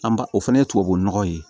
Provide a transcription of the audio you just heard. An ba o fana ye tubabu nɔgɔ ye